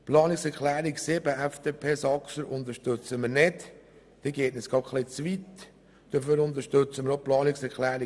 Die Planungserklärung 7 von der FDP (Saxer) geht uns zu weit, deshalb unterstützen wir sie nicht.